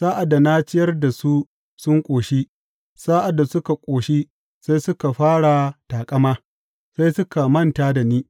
Sa’ad da na ciyar da su sun ƙoshi; sa’ad da suka ƙoshi, sai suka fara taƙama; sai suka manta da ni.